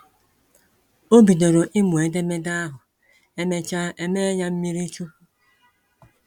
O bidoro ịmụ edemede ahụ, emecha e mee ya mmírí chukwu